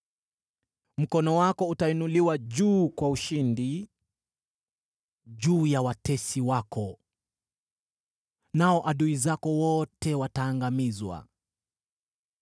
Mkono wako utainuliwa juu kwa ushindi juu ya watesi wako, nao adui zako wote wataangamizwa.